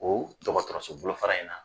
O dɔgɔtɔrɔsobolo fara in na